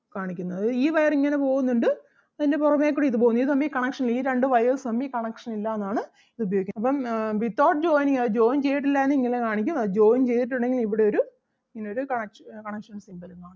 കാണിക്കുന്നത് അതായത് ഈ wire ഇങ്ങനെ പോകുന്നുണ്ട് അതിന് പുറമെ കൂടി ഇത് പോകുന്നു ഇത് തമ്മിൽ connection ഇല്ല ഈ രണ്ട് wires തമ്മിൽ connection ഇല്ല എന്നാണ് ഇത് ഉപയോഗിക്കുന്നത്. അപ്പം ആഹ് without joining അത് join ചെയ്തിട്ടില്ല എങ്കിൽ ഇങ്ങനെ കാണിക്കും അത് join ചെയ്തിട്ടുണ്ടെങ്കിൽ ഇവിടൊരു ഇങ്ങനൊരു connection connection symbol ഉം